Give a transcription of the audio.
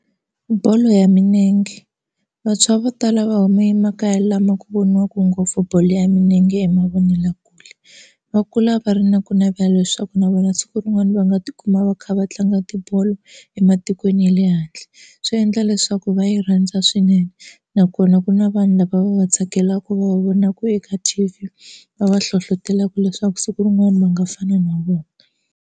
Bolo ya minenge vantshwa vo tala va huma emakaya lama ku voniwaka ngopfu bolo ya milenge emavonelakule. Va kula va ri na ku navela leswaku na vona siku rin'wana va nga tikuma va kha va tlanga tibolo ematikweni ya le handle. Swi endla leswaku va yi rhandza swinene nakona ku na vanhu lava va va tsakelaka va vonaka eka T_V va va hlohlotelaka leswaku siku rin'wani va nga fana na vona.